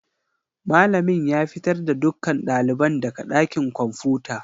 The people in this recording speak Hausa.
Malamin ya fitar da dukkan ɗaliban daga ɗakin kwamfuta.